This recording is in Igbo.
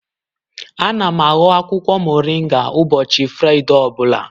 Ana m ahọ akwụkwọ moringa ụbọchị Fraịde ọ bụla..